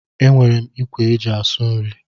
E nwèrè m ikwe e ji asụ nri.